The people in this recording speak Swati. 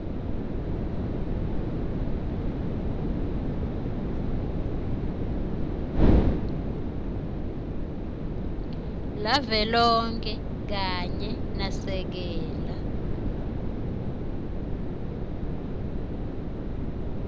lavelonkhe kanye nasekela